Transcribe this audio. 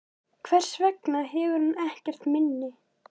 Hvers vegna hefur hún ekkert minni?